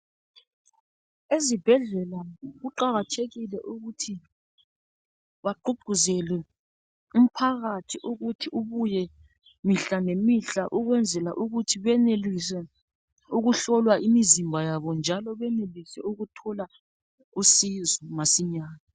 Ezibhedlela kuqakathekile ukuthi bagqugquzele umphakathi ukuthi ubuye mihla ngemihla, ukwenzela ukuthi benelise ukuhlolwa imizimba yabo, njalo benelise ukuthola usizo masinyane.